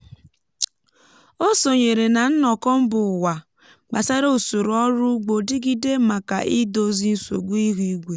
ọ sonyere na nnọkọ mba ụwa gbasara usoro ọrụ ugbo dịgide maka idozi nsogbu ihu igwe.